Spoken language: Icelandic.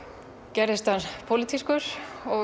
gerðist hann pólitískur og